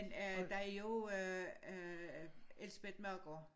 Men der er jo også øh Elsebeth Maegaard